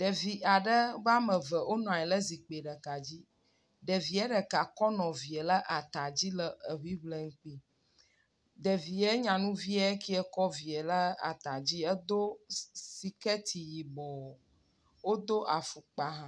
Ɖevi aɖe woame eve wonɔ anyi le zikpi ɖeka dzi. Ɖevia ɖeka kɔ nɔvia le ata dzi le enui ble nɛ. Ɖevia nyanuvia ekɛ kɔ vie le ata dzi edo siketi yibɔ wodo afɔkpa hã.